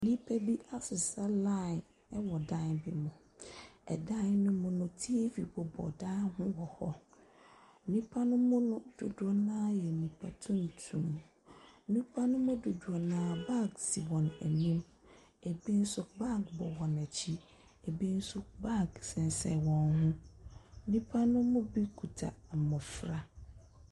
Nnipa bi asesa line ɛwɔ dan bi mu. Ɛdan no mu no teevi bobɔ dan no ho wɔ hɔ. Nnipanom dodoɔ no ara yɛ nipa tumtum. Nnipanom dodoɔ no ara baage si wɔn anim. Ebi nso baage bɔ wɔn akyi. Ebi nso baage sensene wɔn ho. Nnipa no bi kuta mmɔfra.